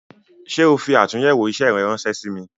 Ṣé o fi atunyewo isẹ rẹ ránsẹ́ sí mi "